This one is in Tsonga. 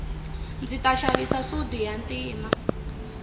ndzi ta xava sudi ya ntima